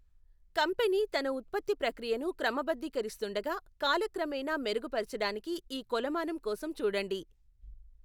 Company తన ఉత్పత్తి ప్రక్రియను క్రమబద్ధీకరిస్తుండగా, కాలక్రమేణా మెరుగుపరచడానికి ఈ కొలమానం కోసం చూడండి.